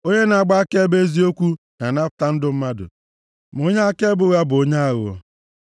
Onye na-agba akaebe eziokwu na-anapụta ndụ mmadụ, ma onye akaebe ụgha bụ onye aghụghọ.